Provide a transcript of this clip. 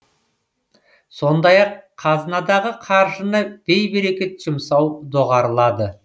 сондай ақ қазынадағы қаржыны бейберекет жұмсау доғарылады